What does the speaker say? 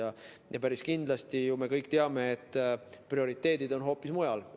Me kõik päris kindlasti teame, et prioriteedid on Euroopa Liidul hoopis mujal.